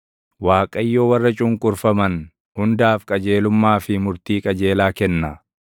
Waaqayyo warra cunqurfaman hundaaf qajeelummaa fi murtii qajeelaa kenna.